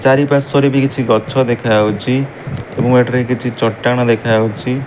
ଚାରି ପାର୍ଶ୍ୱ ରେ ବି କିଛି ଗଛ ଦେଖା ଯାଉଛି। ଏବଂ ଏଠାରେ କିଛି ଚଟାଣ ଦେଖା ଯାଉଛି।